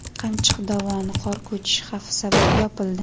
Qamchiq dovoni qor ko‘chishi xavfi sabab yopildi.